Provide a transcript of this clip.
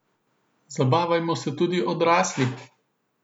Zabavajmo se tudi odrasli!